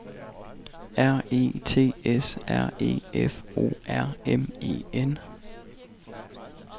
R E T S R E F O R M E N